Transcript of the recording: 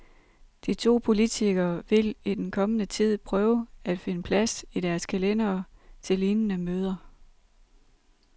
De to politikere vil i den kommende tid prøve at finde plads i deres kalendere til lignende møder.